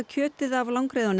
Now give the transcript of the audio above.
kjötið hafa